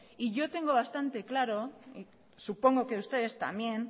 y yo tengo bastante claro supongo que ustedes también